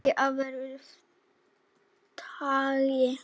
Leki af versta tagi